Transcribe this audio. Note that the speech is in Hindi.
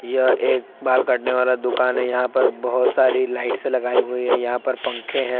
यह एक बाल काटने वाला दुकान है यहाँ पर बहुत सारी लाइट्स लगाई हुई है यहाँ पर पंखे है।